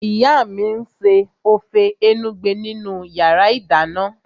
Ìyá mi n ṣe ófé enugbe nínu yàrá -ìdáná